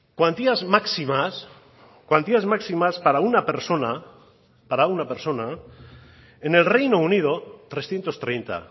cuantías máximas cuantías máximas para una persona para una persona en el reino unido trescientos treinta